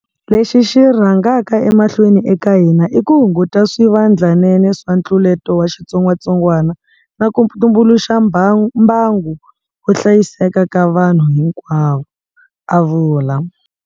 Lexi xi rhangaka emahlweni eka hina i ku hunguta swivandlanene swa ntluleto wa xitsongwatsongwana na ku tumbuluxa mbangu wo hlayiseka ka vanhu hinkwavo, a vula.